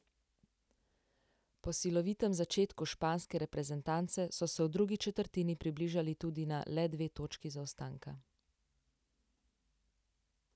Po silovitem začetku španske reprezentance, so se v drugi četrtini približali tudi na le dve točki zaostanka.